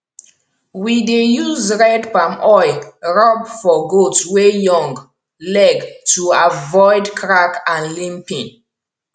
we dey use red palm oil rub for goat wey young leg to avoid crack and limping